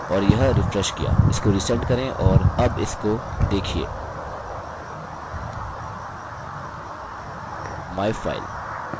और यह रिफ्रेश किया इसको रिसेंड करें और अब इसको देखिये myfile